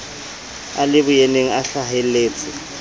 a le boyeneng a hlaheletse